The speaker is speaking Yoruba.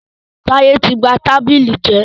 Táyẹ́ tí ba tábìlì jẹ́.